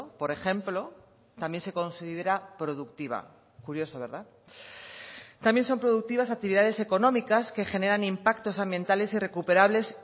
por ejemplo también se considera productiva curioso verdad también son productivas actividades económicas que generan impactos ambientales irrecuperables